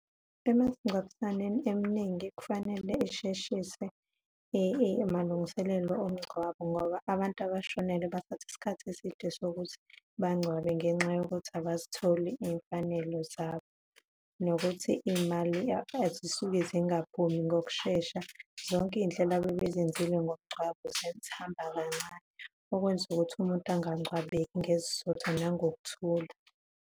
Emasingcwabisaneni eningi kufanele isheshise emalungiselelo omngcwabo ngoba abantu abashonelwe bathatha isikhathi eside sokuthi bangcwabe ngenxa yokuthi abazitholi izimfanelo zabo, nokuthi iy'mali azisuke zingaphumi ngokushesha. Zonke iy'nhlelo ababezenzile ngomngcwabo zihamba kancane, okwenza ukuthi umuntu angcwabeki ngesizotha nangokuthula.